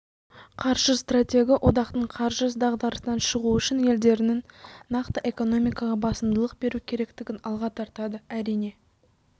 қаржы стратегі одақтың қаржы дағдарысынан шығуы үшін елдерінің нақты экономикаға басымдылық беру керектігін алға тартады әрине